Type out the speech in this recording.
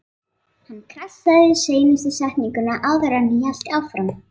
Hann krassaði yfir seinustu setninguna áður en hann hélt áfram.